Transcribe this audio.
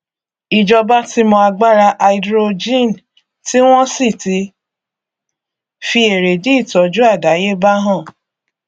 ìjọba ti mọ agbára háídírójìn tí wọn sì ti fi èrèdí ìtọjú àdáyébá hàn